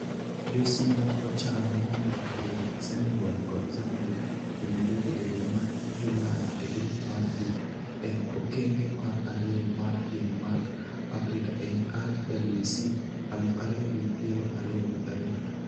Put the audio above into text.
Jo-Simba ochan mondo orwak Senegal kod Zambia e Nairobi e dwe mar Julai e grup mar B e okenge mar ariyo mar piem mag Afrika e RWC aluf ariyo gi piero ariyo gi adek.